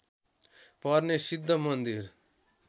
पर्ने सिद्ध मन्दिर